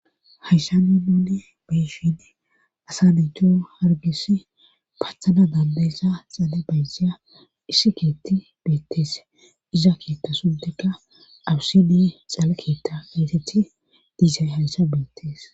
Hayssa ni nune beshidi asa nayto hargis pathana dandayssa xale baysseya issi keetti beettes iza keetta sunteka awussidi xala keetta eyteti diisay hayssa beettees